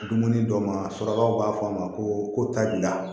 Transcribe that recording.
Dumuni dɔ ma surakaw b'a fɔ a ma ko tabiya